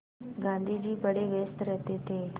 गाँधी जी बड़े व्यस्त रहते थे